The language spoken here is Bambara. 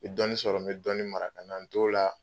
Ni bɛ dɔɔnin sɔrɔ , n bɛ dɔni mara ka na n t'o la.